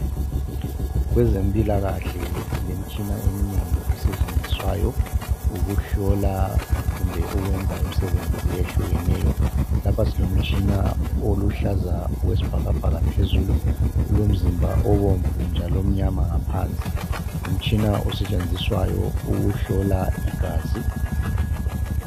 Kwezempilakahle silemitshina eminengi esetshenziswayo ukuhlola kumbe ukwenza imisebenzi ehlukeneyo lapha silomtshina oluhlaza okwesibhakabhaka phezulu ulomzimba obomvu njalo umnyama ngaphansi ngumtshina osetshenziswayo ukuhlola igazi.